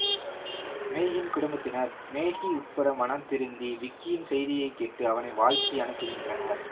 மேகியின் குடும்பத்தினர் மேகி உட்பட மனம்திருந்தி விக்கியின் செய்தியை கேட்டு அவனை வாழ்த்தி அனுப்புகின்றனர்